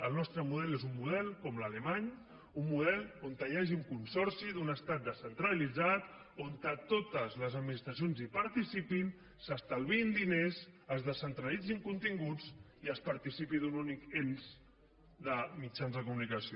el nostre model és un model com l’alemany un model on hi hagi un consorci d’un estat descentralitzat on totes les administracions participin s’estalviïn diners es descentralitzin continguts i es participi d’un únic ens de mitjans de comunicació